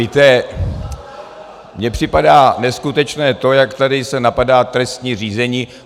Víte, mně připadá neskutečné to, jak se tady napadá trestní řízení.